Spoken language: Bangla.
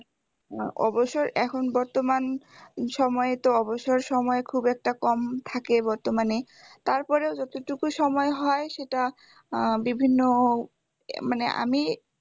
অবশ্য এখন বর্তমান সময়ে তো অবসর সময় খুব একটা কম থাকে মানে তারপরেও যতটুকু সময় হয় সেটা আহ বিভিন্ন মানে আমি